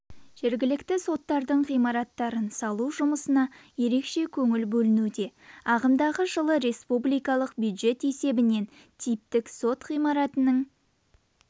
жергілікті соттардың ғимараттарын салу жұмысына еркеше көңіл бөлінуде ағымдағы жылы республикалық бюджет есебінен типтік сот ғимаратының